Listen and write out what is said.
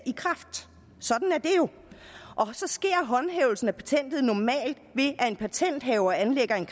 i kraft sådan er det jo så sker håndhævelsen af patentet normalt ved at en patenthaver anlægger en